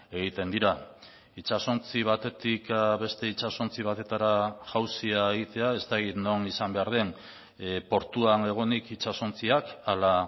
egiten dira itsasontzi batetik beste itsasontzi batetara jauzia egitea ez dakit non izan behar den portuan egonik itsasontziak ala